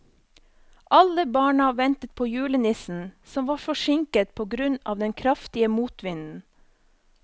Alle barna ventet på julenissen, som var forsinket på grunn av den kraftige motvinden.